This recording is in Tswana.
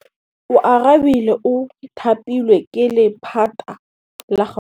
Oarabile o thapilwe ke lephata la Gauteng.